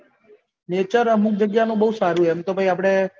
nature અમુક જગ્યા નું બહુ સારું હોય એમ તો ભાઈ આપળે